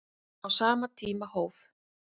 Á sama tíma hóf